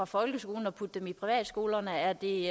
folkeskolen og putte dem i privatskolerne er det